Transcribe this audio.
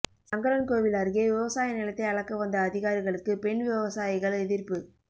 சங்கரன்கோவில் அருகே விவசாய நிலத்தை அளக்க வந்த அதிகாரிகளுக்கு பெண் விவசாயிகள் எதிா்ப்பு